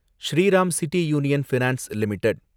Sriram City Union Finance limited